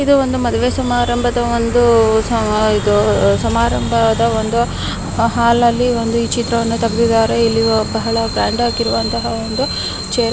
ಇದು ಒಂದು ಮದುವೆ ಸಮಾರಂಭದ ಒಂದು ಇದು ಸಮಾರಂಭದ ಒಂದು ಹಾಲ್ನಲ್ಲಿ ಒಂದು ಈ ಚಿತ್ರವನ್ನು ತೆಗೆದಿದ್ದಾರೆ ಇಲ್ಲಿ ಬಹಳ ಗ್ರಾಂಡ್ ಆಗಿರುವಂತ ಒಂದು ಚೇರ್ --